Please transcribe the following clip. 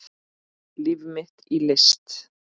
Líf mitt í list